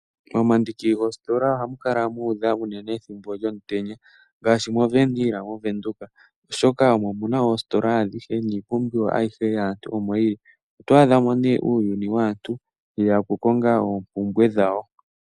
Momandingi goostola ohamu kala muudha unene dhimbo lyomutenya ngaashi mo Wernhil moVenduka, oshoka omo muna oostola adhihe niipumbiwa ayihe yaantu omoyili. Oto adhamo nee uuyuni waantu weya oku konga oompumbwe dhawo.